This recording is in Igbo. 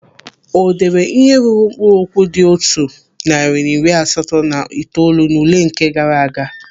O deere ihe ruru mkpụrụ okwu dị otu narị na iri asatọ na itoolu n'ule nke gaara aga?